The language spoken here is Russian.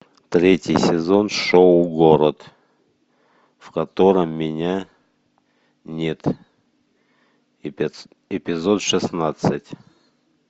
третий сезон шоу город в котором меня нет эпизод шестнадцать